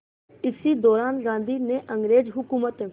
इसी दौरान गांधी ने अंग्रेज़ हुकूमत